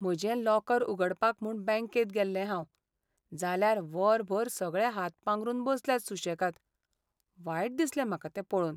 म्हजें लॉकर उगडपाक म्हूण बॅंकेत गेल्लें हांव, जाल्यार वरभर सगळे हात पांगरून बसल्यात सु्शेगाद. वायट दिसलें म्हाका तें पळोवन.